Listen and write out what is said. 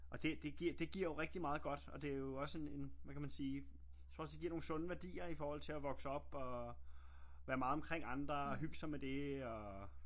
Og det det giver jo rigtig meget godt og det jo også en hvad kan man sige jeg tror også det giver nogle sunde værdier i forhold til og vokse op og være meget omkring andre og hygge sig med det og